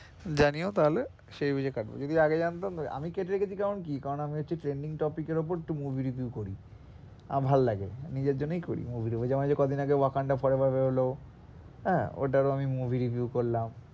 জানিও তাহলে সেই বুঝে কাটবো, যদি আগে জানতাম আমি কেটে রেখেছি কারণ কি কারণ হচ্ছে আমি trending topic এর উপর একটু movie review করি আমার ভালো লাগে নিজের জন্যেই করি movie এর উপর যেমন কদিন wakanda পরের বার বেরোলো আহ ওটার ও আমি movie review করলাম।